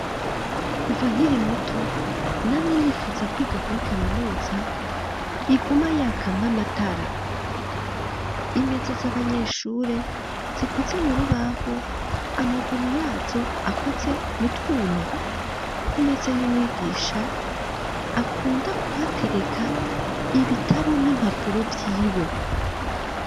Kuva nkiri muto, namye nifuza kwiga kuri Kaminuza iguma yakamwo amatara, imeza z'abanyeshure zikoze mu rubaho, amaguru yazo akoze mutwuma, ku meza y'umwigisha akunda kuhatereka ibitabu n'impapuro vyiwe.